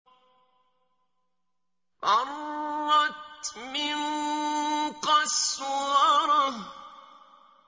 فَرَّتْ مِن قَسْوَرَةٍ